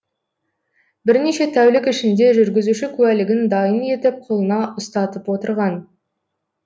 бірнеше тәулік ішінде жүргізуші куәлігін дайын етіп қолына ұстатып отырған